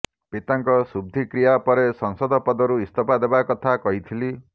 ପିତାଙ୍କ ଶୁଦ୍ଧିକ୍ରିୟା ପରେ ସାଂସଦ ପଦରୁ ଇସ୍ତଫା ଦେବା କଥା କହିଥିଲି